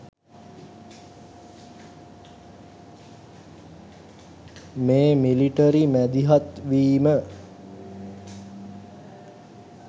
මේ මිලිටරි මැදිහත් වීම